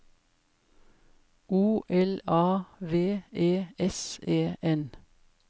O L A V E S E N